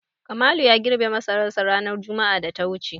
Kamalu ya girbe masararsa ranar juma'ar da ta wuce.